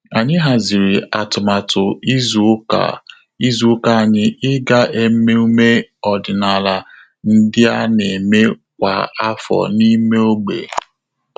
Ànyị hàzị̀rị̀ átụ́màtụ́ izu ụka izu ụka ànyị ị́gá emume ọ́dị́nála ndị a nà-émé kwa áfọ́ n’ímé ógbè.